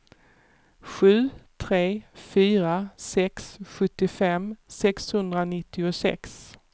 sju tre fyra sex sjuttiofem sexhundranittiosex